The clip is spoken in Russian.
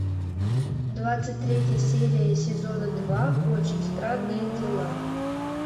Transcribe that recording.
двадцать третья серия сезона два очень странные дела